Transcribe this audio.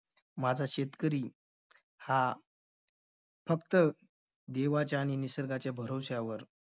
माझा शेतकरी हा फक्त देवाच्या आणि निसर्गाच्या भरवश्यावर